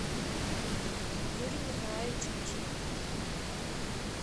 юрий николаевич кучеев